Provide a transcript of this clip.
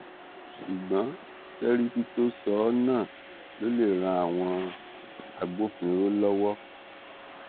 ṣùgbọn sẹríkì tó sọ ọ náà ló lè ran àwọn agbófinró lọwọ